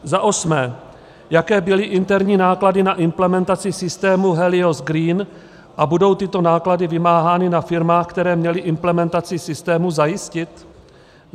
Za osmé: Jaké byly interní náklady na implementaci systému Helios Green a budou tyto náklady vymáhány na firmách, které měly implementaci systému zajistit?